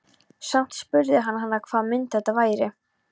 Samt spurði hann hana hvaða mynd þetta væri.